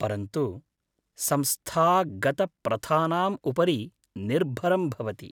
परन्तु, संस्थागतप्रथानाम् उपरि निर्भरं भवति।